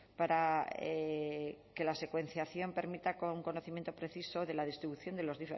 para que la secuenciación permita un conocimiento preciso de la distribución de las